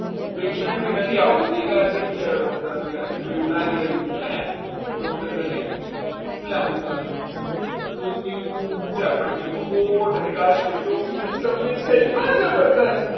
patient બી નથી આવતું doctor અત્યારે તો એવું લાગી રહ્યું છે doctor કહે લાંબો કાળો ધોતિયું ચાર પાટલી નો કોટ અને કાશ્મીરી ટોપી mix થઈ ગયું હો જબરજસ્ત